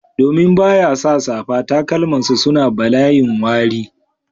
Domin ba ya sa safa, takalmansa suna balayin wari